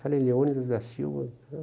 Falei, Leônidas da Silva?